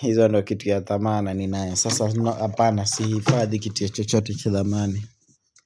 hizo ndo kitu ya dhamana ni nayo Sasa apana siifadhi kitu ya chochote cha dhamani.